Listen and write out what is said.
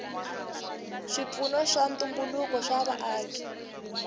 swipfuno swa ntumbuluko swa vaaki